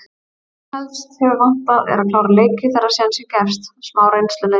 Það sem helst hefur vantað er að klára leiki þegar sénsinn gefst. smá reynsluleysi.